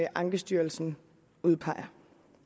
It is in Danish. ankestyrelsen udpeger